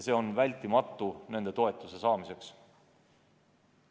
See on vältimatu nende toetuse saamiseks.